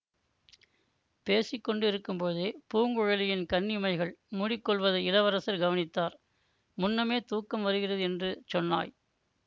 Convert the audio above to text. பேசி கொண்டிருக்கும்போதே பூங்குழலியின் கண்ணிமைகள் மூடிக்கொள்வதை இளவரசர் கவனித்தார் முன்னமே தூக்கம் வருகிறது என்று சொன்னாய்